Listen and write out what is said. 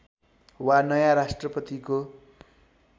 वा नयाँ राष्‍ट्रपतिको